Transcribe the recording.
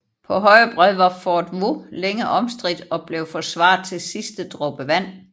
På højre bred var Fort Vaux længe omstridt og blev forsvaret til sidste dråbe vand